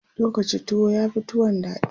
zo Kaci tuwo yafi tuwon daɗi